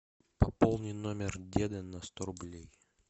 пополни номер деда на сто рублей